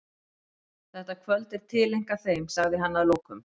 Þetta kvöld er tileinkað þeim, sagði hann að lokum.